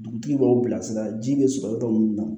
Dugutigi b'aw bilasira ji bɛ sɔrɔ yɔrɔ min na